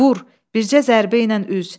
Vur, bircə zərbə ilə üz.